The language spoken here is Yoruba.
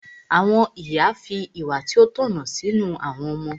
Àwọn ìyá fi ìwà tí ó tọ̀nà sínú àwọn ọmọ.